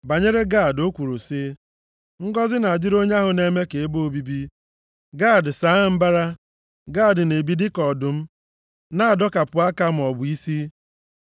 Banyere Gad, o kwuru sị, “Ngọzị na-adịrị onye ahụ na-eme ka ebe obibi Gad saa mbara. Gad na-ebi dịka ọdụm, na-adọkapụ aka maọbụ isi.